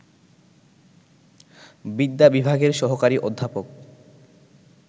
বিদ্যা বিভাগের সহকারী অধ্যাপক